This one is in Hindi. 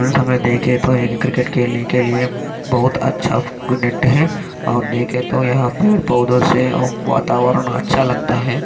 उस समय देखे तो क्रिकेट खेलने के लिए बहुत अच्छा है देखे तो यहाँ पेड़ पौधो से वातावरण अच्छा लगता है।